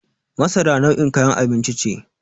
Masara nau'in kayan abinci ce.